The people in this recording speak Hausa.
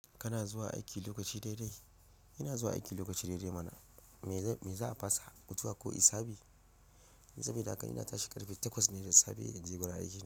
Kana zuwa aiki lokaci daidai? Ina zuwa aiki lokaci daidai mana. Me za a fasa, mutuwa ko hisabi? Sabida haka ina tashi ƙarfe takwas ne na safe in je gurin aiki.